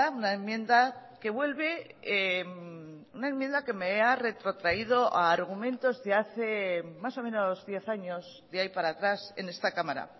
una enmienda que vuelve una enmienda que me ha retrotraído a argumentos de hace más o menos diez años de ahí para atrás en esta cámara